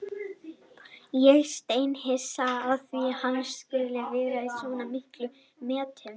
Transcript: Ég er steinhissa á því að hann skuli vera í svona miklum metum.